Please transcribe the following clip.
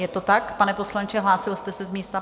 Je to tak, pane poslanče, hlásil jste se z místa?